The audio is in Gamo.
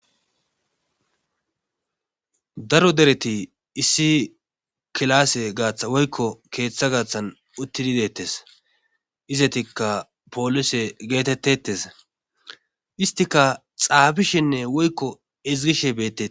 Daro dereti issi kilaasse gaaththa woykko keeththa gaaththan uttidi deettes izetikka poolise geetettetes istika xaabishinne woykko izgishe bettei